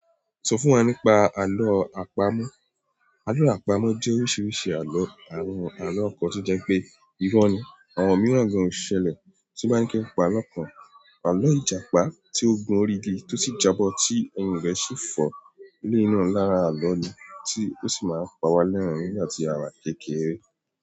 Sọ fún wa nípa àló àpamọ́. Àló àpamọ́ jẹ́ oríṣiríṣi àló, àwọn àló kàn to jẹ́ pé irọ́ ni àwọn mìíràn gan ò ṣẹlẹ̀ tí n bá ni kí n pa àlọ́ kan. Àló ìjàpá tí ó gún orí igi tí ó sì jábọ́ tí ẹ̀yìn rẹ sì fọ́. Eleyi náà, lára àló ni tí ó sì máa ń pa wá lẹ́rin nígbà tí a wà ni kékeré.